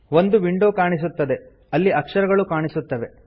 ಒಂದು ವಿಂಡೋ ಕಾಣಿಸುತ್ತದೆ ಅಲ್ಲಿ ಅಕ್ಷರಗಳು ಕಾಣಿಸುತ್ತವೆ